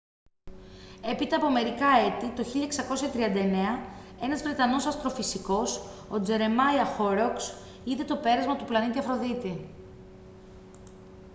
έπειτα από μερικά έτη το 1639 ένας βρετανός αστροφυσικός ο τζερεμάια χόροκς είδε το πέρασμα του πλανήτη αφροδίτη